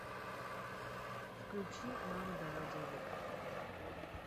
включи мама дала денег